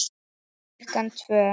Klukkan tvö.